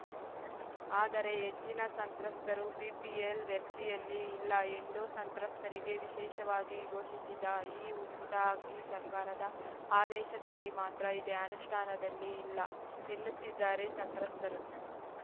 ಆದರೆ ಹೆಚ್ಚಿನ ಸಂತ್ರಸ್ತರು ಬಿಪಿಎಲ್‌ ವ್ಯಾಪ್ತಿಯಲ್ಲಿ ಇಲ್ಲ ಎಂಡೋ ಸಂತ್ರಸ್ತರಿಗೆ ವಿಶೇಷವಾಗಿ ಘೋಷಿಸಿದ ಈ ಉಚಿತ ಅಕ್ಕಿ ಸರ್ಕಾರದ ಆದೇಶದಲ್ಲಿ ಮಾತ್ರ ಇದೆ ಅನುಷ್ಠಾನದಲ್ಲಿ ಇಲ್ಲ ಎನ್ನುತ್ತಿದ್ದಾರೆ ಸಂತ್ರಸ್ತರು